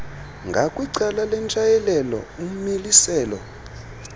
ngakwicala lentshayelelo umiliselo